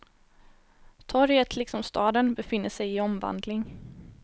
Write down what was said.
Torget liksom staden befinner sig i omvandling.